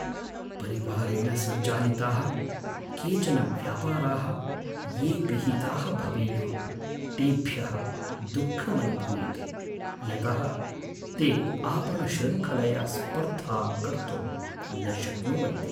परिवारेण सञ्चालिताः केचन व्यापाराः ये पिहिताः भवेयुः, तेभ्यः दुःखमनुभूयते। यतः ते आपणशृङ्खलया स्पर्धां कर्तुं न शक्नुवन्ति।